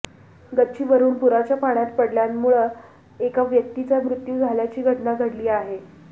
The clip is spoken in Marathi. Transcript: गच्चीवरुन पुराच्या पाण्यात पडल्यामुळं एका व्यक्तीचा मृत्यू झाल्याची घटना घडली आहे